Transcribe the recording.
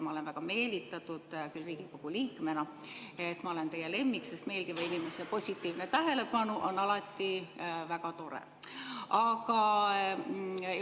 Ma olen väga meelitatud Riigikogu liikmena, et ma olen teie lemmik, sest meeldiva inimese positiivne tähelepanu on alati väga tore.